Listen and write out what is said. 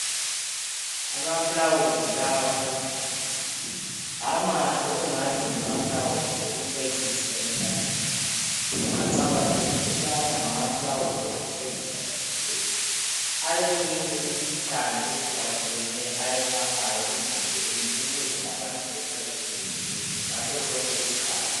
Amaluba lawa aluhlaza amahle angathi ngawokucecisa emtshadweni ungacabangeli ukubana ngamaluba okucecisa nje kuphela aleminue imikhuhlane ayelaphayo emzimbeni ukuze abantu behlale bevikelekile ngasosonke isikhathi